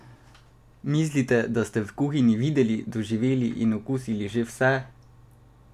Mislite, da ste v kuhinji videli, doživeli in okusili že vse?